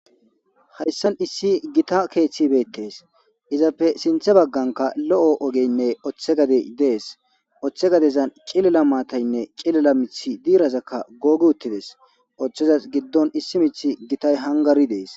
hayssan issi gita keeththi betees izappe sinthe bagganka lo'o ogeynne oththe gadey dees oththe gadezan qilila maataynne cilila mithi diirazakka googi uttides oththeza giddon issi mith gitay hangari dees